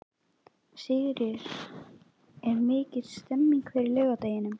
Sigríður: Og er mikil stemning fyrir laugardeginum?